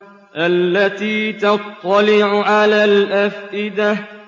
الَّتِي تَطَّلِعُ عَلَى الْأَفْئِدَةِ